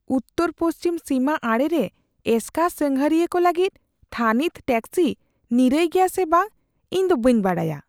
ᱩᱛᱛᱚᱨᱼᱯᱚᱪᱷᱤᱢ ᱥᱤᱢᱟ ᱟᱲᱮᱨᱮ ᱮᱥᱠᱟᱨ ᱥᱟᱸᱜᱷᱟᱨᱤᱭᱟᱹ ᱠᱚ ᱞᱟᱹᱜᱤᱫ ᱛᱷᱟᱹᱱᱤᱛ ᱴᱮᱠᱥᱤ ᱱᱤᱨᱟᱹᱭ ᱜᱮᱭᱟ ᱥᱮ ᱵᱟᱝ ᱤᱧ ᱫᱚ ᱵᱟᱹᱧ ᱵᱟᱰᱟᱭᱟ ᱾